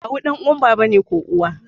Kawu ɗan uwan baba ne ko uwa